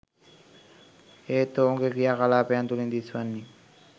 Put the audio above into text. එහෙත් ඔවුන්ගේ ක්‍රියා කලාපයන් තුළින් දිස්වන්නේ